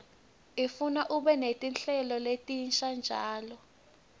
ifuna ube netinhlelo letinsha njalo